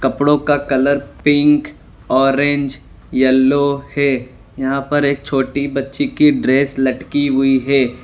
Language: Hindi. कपड़ों का कलर पिंक ऑरेंज येलो है यहां पर एक छोटी बच्ची की ड्रेस लटकी हुई है।